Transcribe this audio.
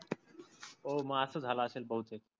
हो मग अस झाल असेल बहुतेक.